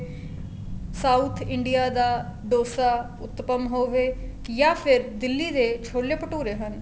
south India ਦਾ ਡੋਸਾ ਉਤਪਮ ਹੋਵੇ ਜਾਂ ਫ਼ੇਰ ਦਿੱਲੀ ਦੇ ਛੋਲੇ ਭਟੂਰੇ ਹਨ